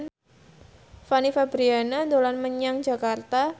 Fanny Fabriana dolan menyang Jakarta